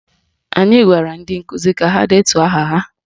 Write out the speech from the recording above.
Anyị gwara ndị nkụzi ka ha detuo aha ha